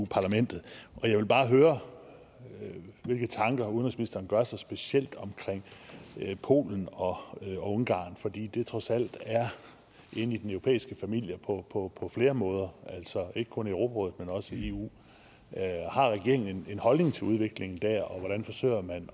parlamentet og jeg vil bare høre hvilke tanker udenrigsministeren gør sig specielt om polen og ungarn fordi det trods alt er inde i den europæiske familie på på flere måder altså ikke kun i europarådet men også i eu har regeringen en holdning til udviklingen der og hvordan forsøger man